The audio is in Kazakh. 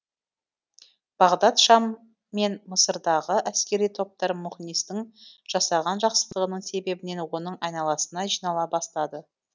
бағдат шам мен мысырдағы әскери топтар мұғнистің жасаған жақсылығының себебінен оның айналасына жинала бастады